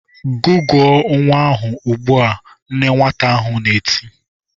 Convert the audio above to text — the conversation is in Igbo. "Gụgụọ nwa ahụ ugbu a!" Nne nwata ahụ na-eti.